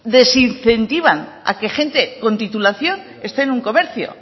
desincentivan a que gente con titulación esté en un comercio